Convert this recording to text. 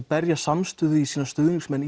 berja samstöðu í stuðningsmenn